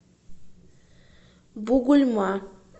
бугульма